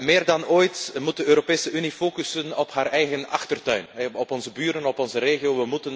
Meer dan ooit moet de Europese Unie focussen op haar eigen achtertuin, op onze buren, op onze regio.